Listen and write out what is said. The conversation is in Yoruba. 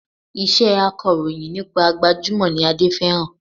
Iṣẹ́ akọ̀rọ̀yìn nípa gbajúmọ̀ ni Adé fẹ́ràn